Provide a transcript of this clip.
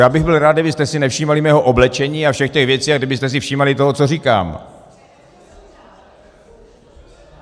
Já bych byl rád, kdybyste si nevšímali mého oblečení a všech těch věcí a kdybyste si všímali toho, co říkám.